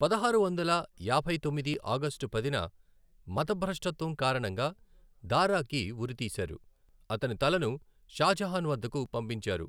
పదహారు వందల యాభై తొమ్మిది ఆగస్టు పదిన మతభ్రష్టత్వం కారణంగా దారాకి ఉరి తీశారు, అతని తలను షాజహాన్ వద్దకు పంపించారు.